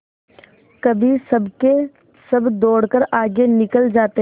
कभी सबके सब दौड़कर आगे निकल जाते